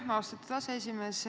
Aitäh, austatud aseesimees!